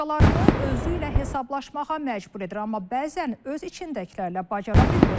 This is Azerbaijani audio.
Başqalarını özü ilə hesablaşmağa məcbur edir, amma bəzən öz içindəkilərlə bacara bilmir.